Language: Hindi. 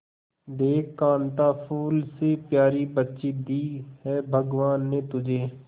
देख कांता फूल से प्यारी बच्ची दी है भगवान ने तुझे